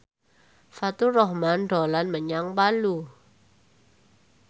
Faturrahman dolan menyang Palu